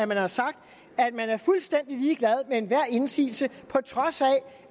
man har sagt at man er fuldstændig ligeglad med enhver indsigelse på trods af